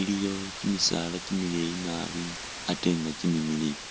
iliyo kimisaala kimileeyi nabi ate nga kimimiliyu.